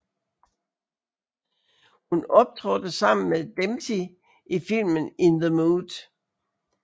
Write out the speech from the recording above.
Hun optrådte sammen med Dempsey i filmen In the Mood